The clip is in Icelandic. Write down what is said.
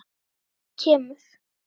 Nóttin kemur.